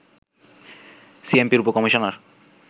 সিএমপির উপ-কমিশনার